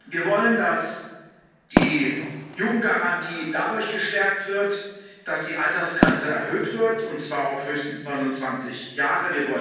Wir wollen, dass die Jugendgarantie dadurch gestärkt wird, dass die Altersgrenze erhöht wird, und zwar auf höchstens 29 Jahre